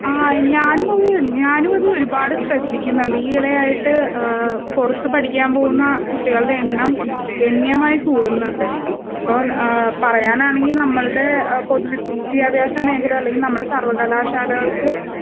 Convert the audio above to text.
ആ ഞാനുമത് ഞാനുമത് ഒരുപാട് ശ്രെദ്ദിക്കുന്നുണ്ട്. ഈയിടെയായിട്ട് ആഹ് പുറത്ത്പഠിക്കാൻപോകുന്നാ കുട്ടികളുടെയെണ്ണം ഗണ്യമായികൂടുന്നുണ്ട്. ഇപ്പം ആഹ് പറയാനാണെങ്കിൽ നമ്മൾടേ പൊതുവിദ്യാഭാസമേഖല അല്ലെങ്കി നമ്മടെസർവ്വകലാശാലകൾക്ക്